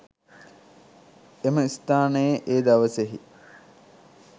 එම ස්ථානයේ ඒ දවසෙහි